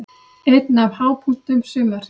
Einn af hápunktum sumarsins.